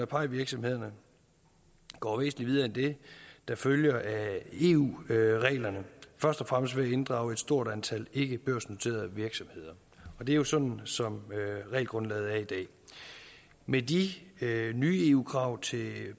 pie virksomhederne går væsentlig videre end det der følger af eu reglerne først og fremmest ved at inddrage et stort antal ikkebørsnoterede virksomheder og det er jo sådan som regelgrundlaget er i dag med de nye eu krav til